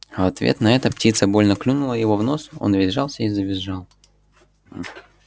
в ответ на это птица больно клюнула его в нос он весь сжался и завизжал